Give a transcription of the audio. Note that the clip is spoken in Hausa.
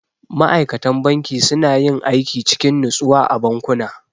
Ma'aikatan banki suna yin aiki cikin natsuwa a bankuna.